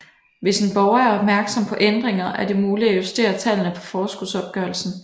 Hvis en borger er opmærksom på ændringer er det muligt at justere tallene på forskudsopgørelsen